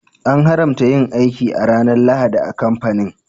An haramta yin aiki a ranar Lahadi a kamfanin.